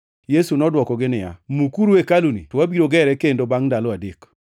Yesu nodwokogi niya, “Mukuru hekaluni, to abiro gere kendo bangʼ ndalo adek.”